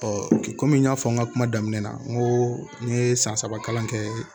kɔmi n y'a fɔ n ka kuma daminɛ na n ko n ye san saba kalan kɛ